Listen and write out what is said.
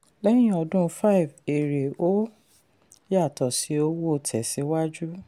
lẹ́yìn ọdún five èrè ò yàtọ̀ sí owó tẹ̀síwájú.